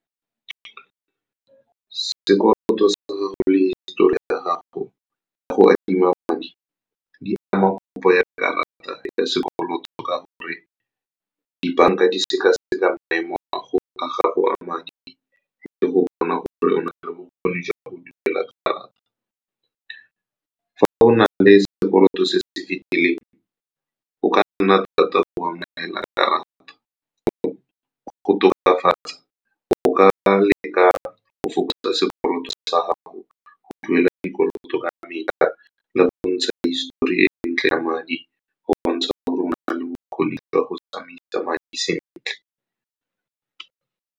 Sekoloto sa gago le histori ya gago ya go adima madi di ama kopo ya karata ya sekoloto, ka gore dibanka di sekaseka maemo a gago a madi le go bona gore o na le bokgoni jwa go duela karata. Fa o na le sekoloto se se fitileng, go ka nna thata go amogela karata. Go tokafatsa, o ka leka go fokotsa sekoloto sa gago, go duela dikoloto ka metlha, le go bontsha histori e ntle ya madi, go bontsha gore o na le bokgoni jwa go tsamaisa madi sentle.